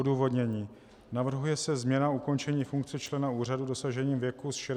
Odůvodnění: Navrhuje se změna ukončení funkce člena úřadu dosažením věku z 65 na 70 let.